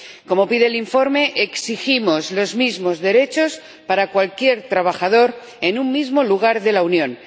Como pide el informe, exigimos los mismos derechos para cualquier trabajador en un mismo lugar de la Unión